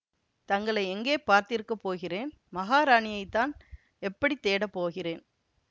தங்களை எங்கே பார்த்திருக்கப் போகிறேன் மகாராணியைத்தான் எப்படி தேடப் போகிறேன்